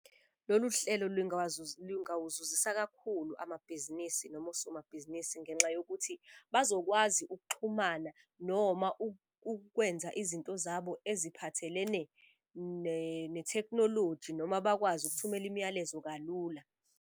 Lolu hlelo lingawuzuzisa kakhulu amabhizinisi noma osomabhizinisi ngenxa yokuthi bazokwazi ukuxhumana noma ukwenza izinto zabo eziphathelene nethekhnoloji noma bakwazi ukuthumela imiyalezo kalula.